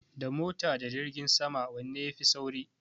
Da mota da jirgin sama wanne ya fi sauri?